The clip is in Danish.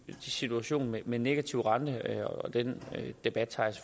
situation med med negativ rente den debat tager